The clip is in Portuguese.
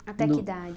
Até que idade?